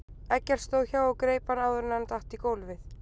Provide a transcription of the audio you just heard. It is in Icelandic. Eggert stóð hjá og greip hann áður en hann datt í gólfið.